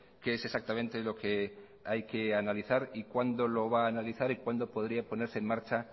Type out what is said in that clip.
qué es exactamente lo que hay que analizar y cuándo lo va a analizar y cuándo podría ponerse en marcha